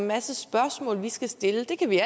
masse spørgsmål vi skal stille det kan vi